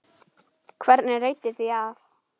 Hvernig reiddi því af?